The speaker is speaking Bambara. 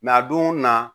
a don na